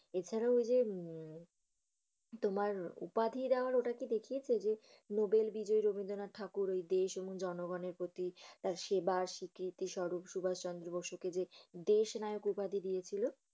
এছাড়া ঐ যে, উম তোমার উপাধি দেয়ার ঐটা কি দেখিয়েছে নোবেল বিজয়ী রবীন্দ্রনাথ ঠাকুর দেশ এবং জনগনের প্রতি তার সেবা স্বীকৃতি স্বরূপ সুভাষ চন্দ্র বসুকে যে দেশ নায়ক দিয়েছিল?